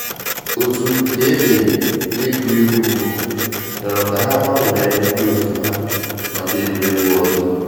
Òtù nke emeri na egwuregwu mbụ rịọrọ ka ha gbanwee ndị òtù hà maka egwuregwu ọzọ.